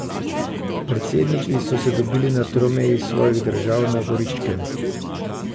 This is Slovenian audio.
Predsedniki so se dobili na tromeji svojih držav na Goričkem.